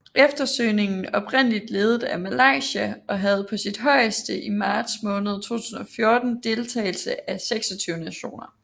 Eftersøgningen oprindeligt ledet af Malaysia og havde på sit højeste i marts måned 2014 deltagelse af 26 nationer